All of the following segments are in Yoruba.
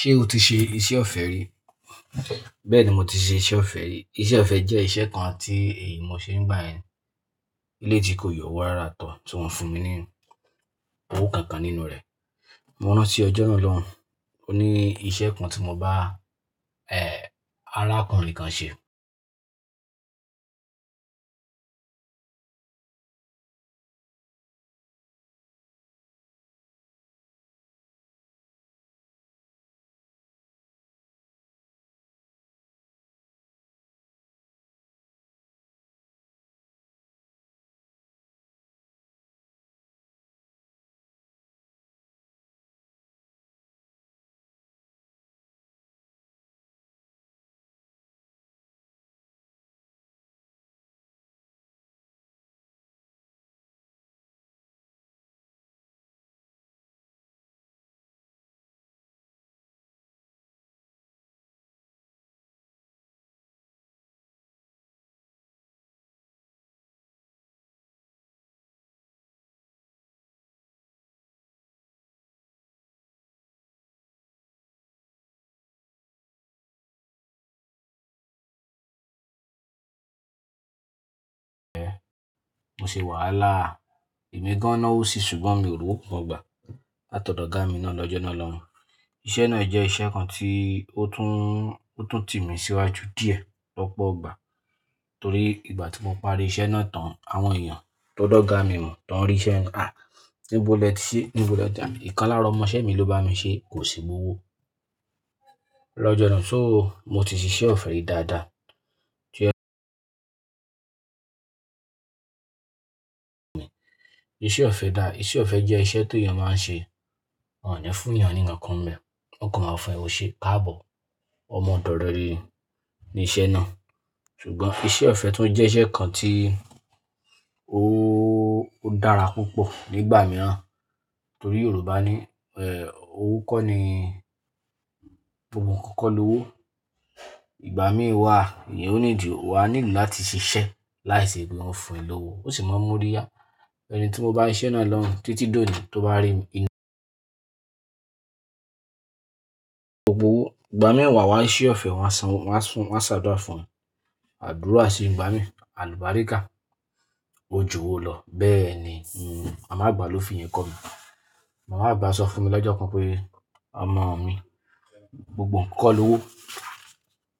Ṣé o ti ṣe iṣẹ́ ọ̀fẹ́ rí? Bẹ́ẹ̀ni, mo ti ṣe iṣẹ́ ọ̀fẹ́ rí. Iṣẹ́ ọ̀fẹ́ jẹ́ iṣẹ́ kan tí èyí mo ṣe nígbà ẹni. Ilé tí kò yọ owó rárá tó tí wọ́n fún mi ní owó kankan nínú rẹ̀. Mo rán tí ọjọ́ náà lọ́hun. Ó ní iṣẹ́ kan tí mo bá, eh, arákùnrin kan ṣe. Mo ṣe wàhálà. Ẹ̀mi gan-an náà wó ṣi, ṣùgbọ́n mi ò rí owó kankan gbà. Láti ọ̀dọ̀ ọ̀gá mi náà lọ́jọ́ náà lọ́un. Iṣẹ́ náà jẹ́ iṣẹ́ kan tí ó tún, ó tún tì mí síwájú díẹ̀ lọ́pọ̀ ọgbà. Torí ìgbà tí mo parí iṣẹ́ náà tán, àwọn èèyàn tó dọ́ga mi mọ̀ tán rí iṣẹ́ náà. Ah! Níbo lọ ti ṣe, níbo lọ dà mí. Ìkan lára ọmọ-ìṣẹ́ mi ló bá mi ṣe, kò sí gbó owó. Lọ́jọ́ náà, so mo ti ṣe iṣẹ́ ọ̀fẹ́ rìí dáadáa. Tí ọ Iṣẹ́ ọ̀fẹ́ dá, iṣẹ́ ọ̀fẹ́ jẹ́ iṣẹ́ tó èèyàn máa ń ṣe. Wọn ò ní fún èèyàn ní nkán nbe. Wọn kò máa fún ẹ ò ṣe káàbọ̀. Ọmọ ọ̀dọ̀ rẹre ni iṣẹ́ náà. Ṣùgbọ́n iṣẹ́ ọ̀fẹ́ tún jẹ́ iṣẹ́ kan tí ó, ó dára púpọ̀ nígbà mìíràn. Torí Yorùbá ní, eh, owó kọ́ ni gbogbo nǹkan kọ́ lo owó. Ìgbà míì wà, èèyàn ó nídi, wà á nílò láti ṣiṣẹ́ láìsí pe wọ́n ó fún ẹ ní owó. Ó sì máa múri yá. Ẹni tí mo bá s'iṣẹ́ náà lọ́hun títí dòní tó bá rí mi ní gbogbo gbà míì wà wá ṣe ọ̀fẹ́, wọ́n á san, wọ́n á fún, wọ́n á ṣàdúrà fún mi. Àdúrà sì ń gbá mi. Àlùbáríkà. Ojo wo lọ. Bẹ́ẹ̀ ni, hm, màmá àgbà ló fi ìyẹn kọ́ mi. Màmá àgbà sọ fún mi lọ́jọ́ kan pé, "Ọmọ mi, gbogbo nǹkan kọ́ lo owó.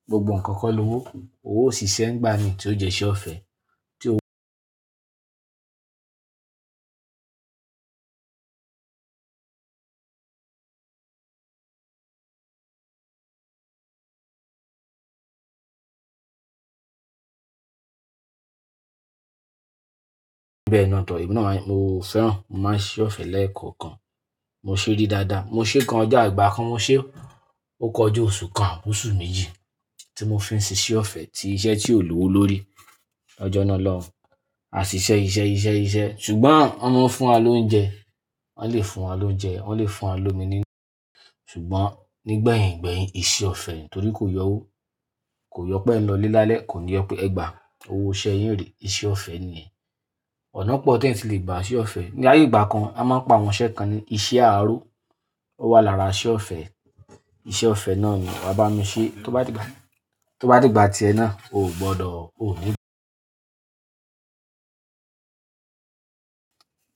Gbogbo nǹkan kọ́ lo owó. Oó ò ṣì ṣe ń gbá mi tí ó jẹ́ iṣẹ́ ọ̀fẹ́. Tí ó wọ Bẹ́ẹ̀ ni to emi naa, mo fẹ́ràn. Mo máa ń ṣe ọ̀fẹ́ lẹ́ẹ̀kan kan. Mo ṣe é ri dáadáa. Mo ṣe é kan ọjọ́ igbà kan mo ṣe ó. Ó kọjá oṣù kan, oṣù méjì tí mo fi ń ṣe iṣẹ́ ọ̀fẹ́, tí iṣẹ́ tí ò lo owó lórí. Ọjọ́ náà lọ́hun. A ṣiṣẹ́, iṣẹ́, iṣẹ́, iṣẹ́. Ṣùgbọ́n wọ́n máa ń fún wa lóúnjẹ. Wọ́n lè fún wa lóúnjẹ, wọ́n lè fún wa lómi nínú. Ṣùgbọ́n nígbẹ̀yìn gbẹ̀yìn, iṣẹ́ ọ̀fẹ́ nìí. Torí kò yọ owó. Kò yọ pé ẹ lọlé lálẹ́, kò ní yọ pé ẹ gbà owó iṣẹ́ yín rè. Iṣẹ́ ọ̀fẹ́ nìyẹn. Ọ̀nà pọ̀ tí wọ́n ti lè gbà iṣẹ́ ọ̀fẹ́. Ni ayé ìgbà kan, a máa ń pa àwọn iṣẹ́ kan ní iṣẹ́ aró. Ó wà lára iṣẹ́ ọ̀fẹ́. Iṣẹ́ ọ̀fẹ́ náà ni wọ́n bá mi ṣe. Tó bá di gbà, tó bá di ìgbà ti ẹ náà, o ò gbọdọ̀, o ò ní gbọ.